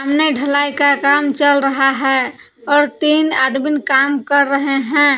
सामने ढलाई का काम चल रहा है और तीन आदमीन काम कर रहे हैं।